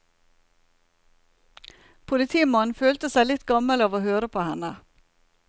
Politimannen følte seg litt gammel av å høre på henne.